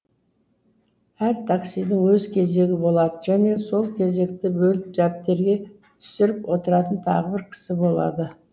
әр таксидің өз кезегі болады және сол кезекті бөліп дәптерге түсіріп отыратын тағы бір кісі болады